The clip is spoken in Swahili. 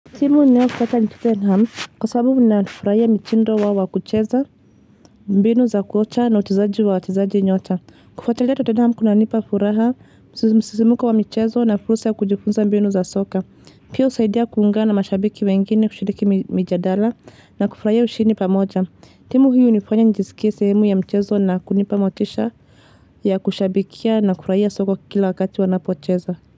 Timu ninayopenda ni Tottenham Kwa sababu ninafurahia mitindo wao wa kucheza mbinu za kocha na uchezaji wa wachezaji nyota. Kufuatilia Tottenham kunanipa furaha, msisimuko wa michezo na fursa ya kujifunza mbinu za soka. Pia husaidia kuungana na mashabiki wengine, kushiriki mijadala na kufurahia ushindi pamoja. Timu huyu hunifanya nijisikie sehemu ya mchezo na kunipa motisha ya kushabikia na kufurahia soko kila wakati wanapocheza.